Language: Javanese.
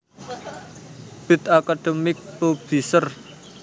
Brill Academic Publishers